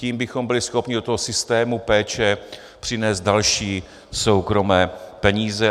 Tím bychom byli schopni do toho systému péče přinést další soukromé peníze.